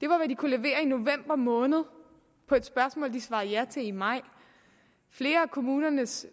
det var hvad de kunne levere i november måned på et spørgsmål de svarede ja til i maj flere af kommunernes